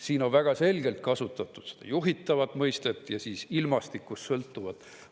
Siin on väga selgelt kasutatud juhitavat mõistet ja ilmastikust sõltuvat.